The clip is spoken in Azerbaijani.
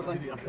Burda atladı.